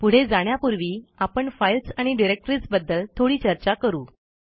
पुढे जाण्यापूर्वी आपण फाईल्स आणि डिरेक्टरीज बद्दल थोडी चर्चा करू